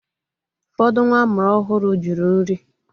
Ụfọdụ nwa amụrụ ọhụrụ jụrụ nri.